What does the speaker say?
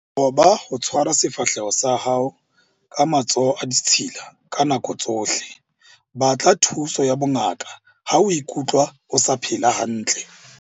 Qoba ho tshwara sefahleho sa hao ka matsoho a ditshila ka nako tsohle. Batla thuso ya bongaka ha o ikutlwa o sa phela hantle.